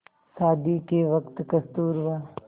शादी के वक़्त कस्तूरबा